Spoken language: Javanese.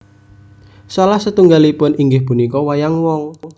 Salah setunggalipun inggih punika wayang wong